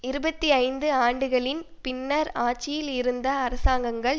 இருபத்தி ஐந்து ஆண்டுகளின் பின்னர் ஆட்சியில் இருந்த அரசாங்கங்கள்